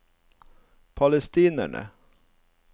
palestinere